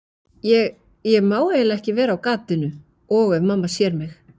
Ég, ég má eiginlega ekki vera á gatinu. og ef mamma sér mig.